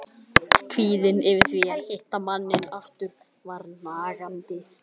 Kvíðinn yfir því að hitta manninn aftur var nagandi.